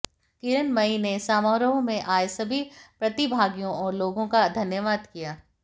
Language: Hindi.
किरण मइ ने समारोह में आये सभी प्रतिभागियों और लोगों का धन्यवाद किया